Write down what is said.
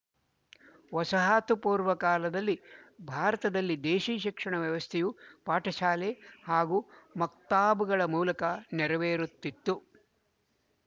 ವಸಾಹತುಪೂರ್ವ ಕಾಲದಲ್ಲಿ ಭಾರತದಲ್ಲಿ ದೇಶಿ ಶಿಕ್ಷಣ ವ್ಯವಸ್ಥೆಯು ಪಾಠಶಾಲೆ ಹಾಗೂ ಮಕ್ತಾಬ್‍ಗಳ ಮೂಲಕ ನೆರವೇರುತಿತ್ತು